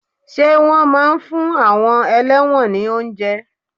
Ṣé wọn máa ń fún àwọn ẹlẹ́wọ̀n ni oúnjẹ?